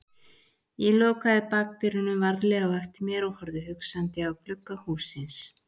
Ég lokaði bakdyrunum varlega á eftir mér og horfði hugsandi á glugga hússins.